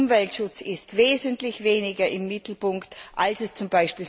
geht. Der Umweltschutz ist wesentlich weniger im Mittelpunkt als